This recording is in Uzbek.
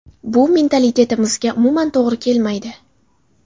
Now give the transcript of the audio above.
Bu mentalitetimizga umuman to‘g‘ri kelmaydi.